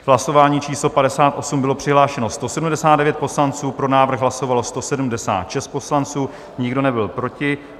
V hlasování číslo 58 bylo přihlášeno 179 poslanců, pro návrh hlasovalo 176 poslanců, nikdo nebyl proti.